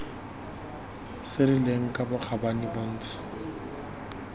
se rileng ka bokgabane bontsha